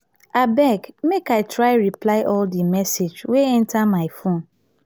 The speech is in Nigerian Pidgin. abeg make i try reply all di message wey enta my phone.